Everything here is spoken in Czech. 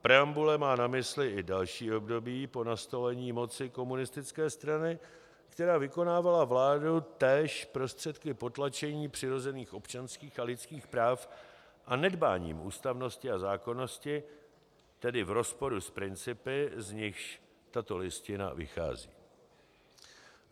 Preambule má na mysli i další období po nastolení moci komunistické strany, která vykonávala vládu též prostředky potlačení přirozených občanských a lidských práv a nedbáním ústavnosti a zákonnosti, tedy v rozporu s principy, z nichž tato Listina vychází.